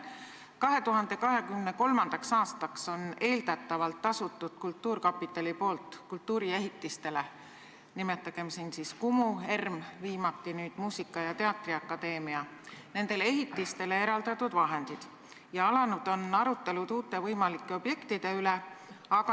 2023. aastaks on eeldatavalt kasutatud kultuurkapitali poolt kultuuriehitistele – nimetagem siin Kumu, ERM, viimati nüüd Muusika- ja Teatriakadeemia – eraldatud vahendid ja alanud on arutelud uute võimalike objektide üle.